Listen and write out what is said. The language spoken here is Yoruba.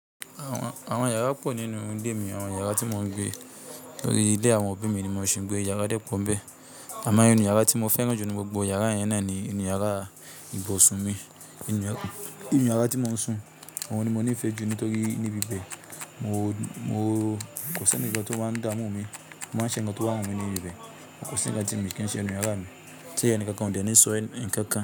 Àwọn yàrá pọ̀ nínú ilé mi. Àwọn yàrá tí mò ń gbé tórí ile àwọn òbí mi ni mò ṣì n gbé. Yàrá dẹ́ pọ n bẹ́ẹ̀. Àmọ́ inú yàrá tí mo fẹ́ràn jù nínú gbogbo yàrá yẹn náà ni inú yàrá ìbọ̀sún mi. Inú yàrá tí mò ń sùn, òun ni mo nífẹ̀ẹ́ jù nítorí níbi bẹ́ẹ̀, mo kò sí ẹnikan tó máa ń dá mú mi, mo máa ń ṣẹ̀ nnkan tó bá wù mí níbi bẹ́ẹ̀. Kòsí ńnkan ti mi kí n ṣe ninú yàrá mi. Tí èni kankan ò dẹ ní sọ̀ nnkankan.